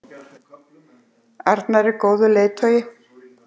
arnar er góður leiðtogi.